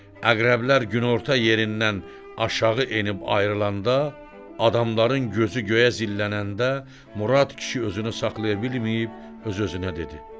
Əqrəblər günorta yerindən aşağı enib ayrılanda, adamların gözü göyə zillənəndə Murad kişi özünü saxlaya bilməyib öz-özünə dedi.